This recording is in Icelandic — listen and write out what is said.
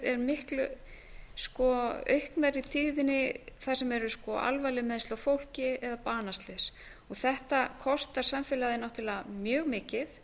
eru miklu aukna tíðni þar sem eru alvarlegri meiðsli á fólki eða banaslys þetta kostar samfélagið náttúrlega mjög mikið